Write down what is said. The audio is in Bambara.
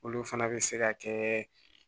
Olu fana bɛ se ka kɛ